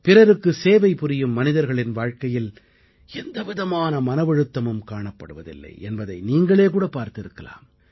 பிறருக்கு சேவைபுரியும் மனிதர்களின் வாழ்க்கையில் எந்தவிதமான மனவழுத்தம் காணப்படுவதில்லை என்பதை நீங்களேகூட பார்த்திருக்கலாம்